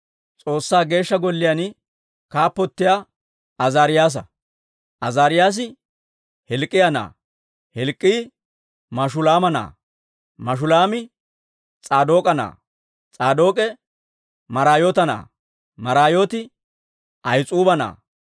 S'oossaa Geeshsha Golliyaan kaappotiyaa Azaariyaasa. Azaariyaasi Hilk'k'iyaa na'aa; Hilk'k'ii Mashulaama na'aa; Mashulaami S'aadook'a na'aa; S'aadook'e Maraayoota na'aa; Maraayooti Ahis'uuba na'aa.